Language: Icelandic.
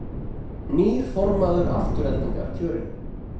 Nýr formaður Aftureldingar kjörinn